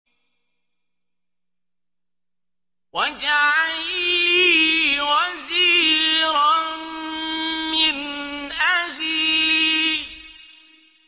وَاجْعَل لِّي وَزِيرًا مِّنْ أَهْلِي